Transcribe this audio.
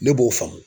Ne b'o faamu